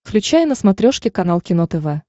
включай на смотрешке канал кино тв